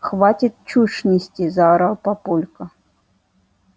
хватит чушь нести заорал папулька